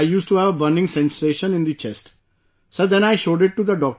I used to have a burning sensation in the chest, Sir, then I showed it to the doctor